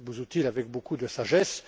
Busuttil avec beaucoup de sagesse.